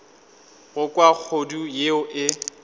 go kwa kgodu yeo e